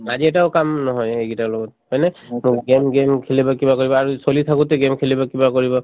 আজি এটাও কাম নহয় সেইকেইটাৰ লগত হয়নে game game খেলিব কিবা কৰিব আৰু চলি থাকোতে game খেলিব কিবা কৰিব